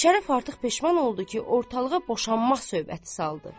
Şərəf artıq peşman oldu ki, ortalığa boşanmaq söhbəti saldı.